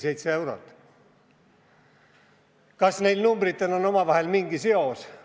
Kas nendel numbritel on omavahel mingi seos?